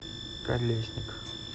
колесник